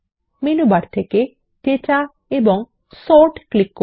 menu bar থেকে data এবং sort click করুন